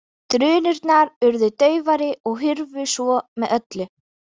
Drunurnar urðu daufari og hurfu svo með öllu.